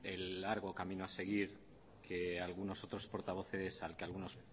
el largo camino a seguir al que algunos